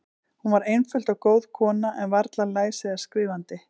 Hún var einföld og góð kona, en varla læs eða skrifandi.